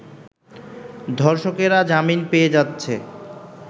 ধর্ষকেরা জামিন পেয়ে যাচ্ছে